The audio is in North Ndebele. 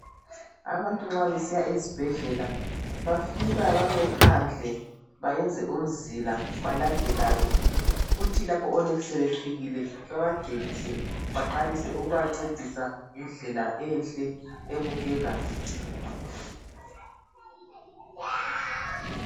Abantu nxa besiya ezibhedlela bafika bame phandle bayenze umzila balandelane kuthi lapho onesi sebefikile babangenise baqalise ukubancedisa ngendlela enhle ebukekayo.